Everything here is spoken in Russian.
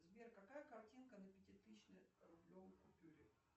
сбер какая картинка на пятитысячной рублевой купюре